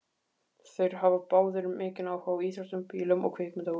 Þeir hafa báðir mikinn áhuga á íþróttum, bílum og kvikmyndahúsum.